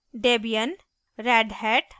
* debian debian * redhat Red Hat